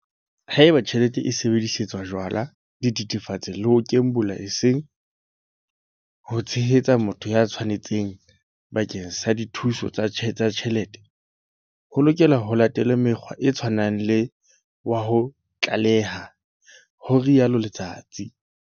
Haeba tjhelete e sebedisetswa jwala, dithethefatse le ho kembola eseng ho tshehetsa motho ya tshwanetseng bakeng sa dithuso tsa tjhelete, ho lokela ho latelwe mokgwa o tshwanang wa ho tlaleha, ho rialo Letsatsi.